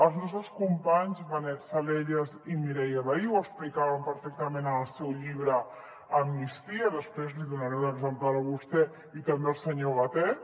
els nostres companys benet salellas i mireia vehí ho explicaven perfectament en el seu llibre amnistia després li donaré un exemplar a vostè i també al senyor batet